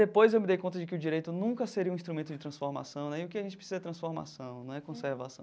Depois eu me dei conta de que o direito nunca seria um instrumento de transformação né, e o que a gente precisa é transformação, não é conservação.